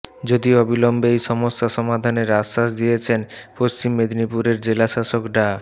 যদিও অবিলম্বে এই সমস্যা সমাধানের আশ্বাস দিয়েছেন পশ্চিম মেদিনীপুরের জেলাশাসক ডা